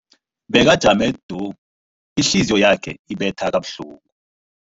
Bekajame du, ihliziyo yakhe ibetha kabuhlungu.